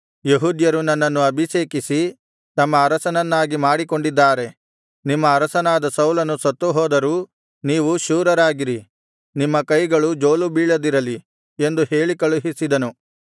ಯೆಹೂದ್ಯರು ನನ್ನನ್ನು ಅಭಿಷೇಕಿಸಿ ತಮ್ಮ ಅರಸನನ್ನಾಗಿ ಮಾಡಿಕೊಂಡಿದ್ದಾರೆ ನಿಮ್ಮ ಅರಸನಾದ ಸೌಲನು ಸತ್ತುಹೋದರೂ ನೀವು ಶೂರರಾಗಿರಿ ನಿಮ್ಮ ಕೈಗಳು ಜೋಲುಬೀಳದಿರಲಿ ಎಂದು ಹೇಳಿ ಕಳುಹಿಸಿದನು